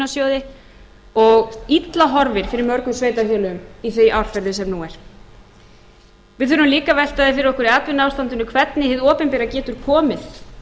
framlag frá jöfnunarsjóði og illa horfir fyrir mörgum sveitarfélögum í því árferði sem nú er við þurfum líka að velta fyrir okkur atvinnuástandinu hvernig hið opinbera geti komið